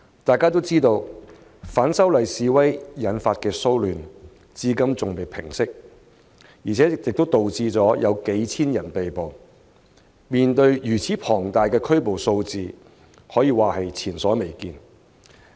眾所周知，反修例示威引發的騷亂至今尚未平息，導致數千人被捕，如此龐大的拘捕數字，可說是前所未見。